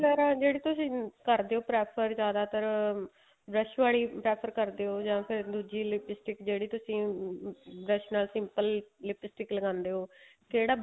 ਵਗੈਰਾ ਜਿਹੜੀ ਤੁਸੀਂ ਕਰਦੇ ਓ prefer ਜਿਆਦਾਤਰ brush ਵਾਲੀ prefer ਕਰਦੇ ਓ ਜਾਂ ਫ਼ਿਰ ਦੂਜੀ lipstick ਜਿਹੜੀ ਤੁਸੀਂ ਅਹ dress ਨਾਲ lipstick ਲਗਾਉਂਦੇ ਓ ਕਿਹੜਾ